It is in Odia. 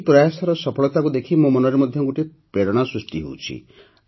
ଏହି ପ୍ରୟାସର ସଫଳତାକୁ ଦେଖି ମୋ ମନରେ ମଧ୍ୟ ଗୋଟିଏ ପ୍ରେରଣା ସୃଷ୍ଟି ହେଉଛି